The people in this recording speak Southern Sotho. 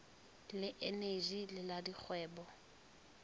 le eneji le la dikgwebo